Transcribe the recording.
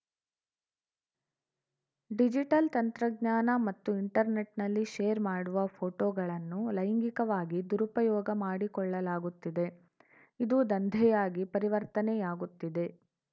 digital ತಂತ್ರಜ್ಞಾನ ಮತ್ತು ಇಂಟರ್‌ನೆಟ್‌ನಲ್ಲಿ ಶೇರ್‌ ಮಾಡುವ ಫೋಟೋಗಳನ್ನೂ ಲೈಂಗಿಕವಾಗಿ ದುರುಪಯೋಗ ಮಾಡಿಕೊಳ್ಳಲಾಗುತ್ತಿದೆ ಇದು ದಂಧೆಯಾಗಿ ಪರಿವರ್ತನೆಯಾಗುತ್ತಿದೆ